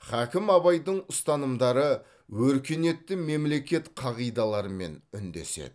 хакім абайдың ұстанымдары өркениетті мемлекет қағидаларымен үндеседі